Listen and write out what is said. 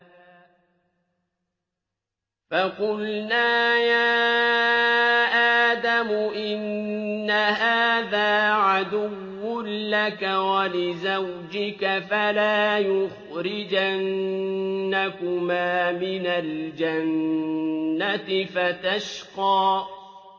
فَقُلْنَا يَا آدَمُ إِنَّ هَٰذَا عَدُوٌّ لَّكَ وَلِزَوْجِكَ فَلَا يُخْرِجَنَّكُمَا مِنَ الْجَنَّةِ فَتَشْقَىٰ